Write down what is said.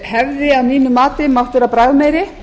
hefði að mínu mati mátt vera bragðmeiri